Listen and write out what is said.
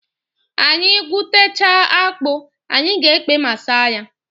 Anyị gwutechaa akpụ, anyị ga-ekpe ma saa ya.